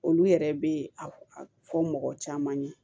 Olu yɛrɛ bɛ a fɔ mɔgɔ caman ye